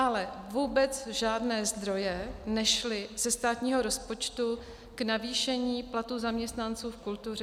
Ale vůbec žádné zdroje nešly ze státního rozpočtu k navýšení platů zaměstnanců v kultuře.